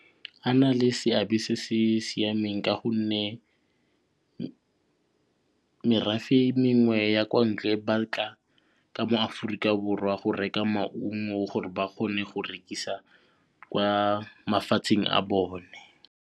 A na le seabe se se siameng ka gonne merafe mengwe ya kwa ntle ba tla ka mo Aforika Borwa go reka maungo gore ba kgone go rekisa kwa mafatsheng a bone.